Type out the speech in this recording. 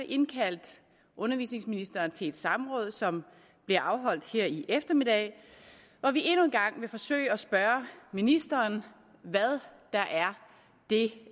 indkaldt undervisningsministeren til et samråd som bliver afholdt her i eftermiddag hvor vi endnu en gang vil forsøge at spørge ministeren hvad det